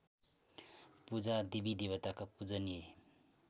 पूजा देवीदेवता पूजनीय